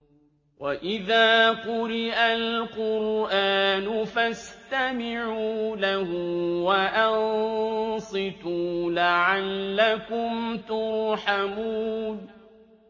وَإِذَا قُرِئَ الْقُرْآنُ فَاسْتَمِعُوا لَهُ وَأَنصِتُوا لَعَلَّكُمْ تُرْحَمُونَ